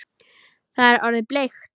Það er orðið bleikt!